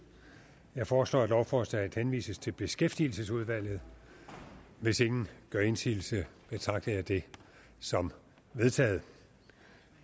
jeg foreslår at lovforslaget henvises til beskæftigelsesudvalget hvis ingen gør indsigelse betragter jeg det som vedtaget